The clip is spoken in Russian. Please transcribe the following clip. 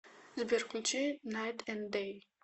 сбер включи найт энд дэй